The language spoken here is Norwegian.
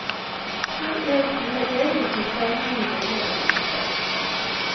to en fire en nittifem ni hundre og nittifem